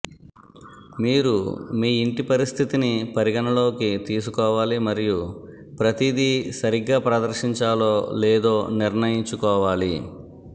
మీరు మీ ఇంటి పరిస్థితిని పరిగణనలోకి తీసుకోవాలి మరియు ప్రతిదీ సరిగ్గా ప్రదర్శించాలో లేదో నిర్ణయించుకోవాలి